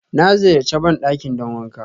Na ziyarche bandakin don wanƙa